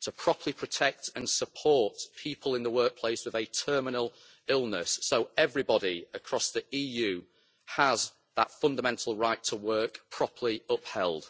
to properly protect and support people in the workplace with a terminal illness, so everybody, across the EU, has that fundamental right to work properly upheld.